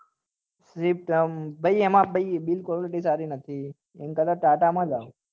બ swift આ ભાઈ એમાં ભાઈ bill quality સારી નથી એના કરતા ટાટા માં જાઓ